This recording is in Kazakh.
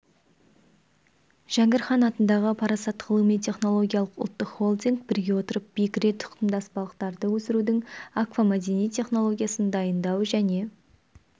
жәңгір хан атындағы парасат ғылыми-технологиялық ұлттық холдинг біріге отырып бекіре тұқымдас балықтарды өсірудің аквамәдени технологиясын дайындау және